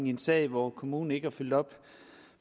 i en sag hvor kommunen ikke har fulgt op